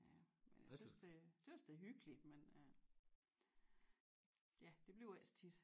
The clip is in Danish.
Ja men a tøs det tøs det er hyggeligt men ja det bliver ikke så tit